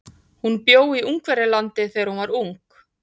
Hún bjó í Ungverjalandi þegar hún var ung.